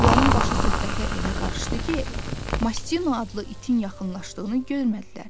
Onların başı söhbətə elə qarışdı ki, Mastino adlı itin yaxınlaşdığını görmədilər.